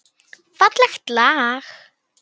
Fallegt lag.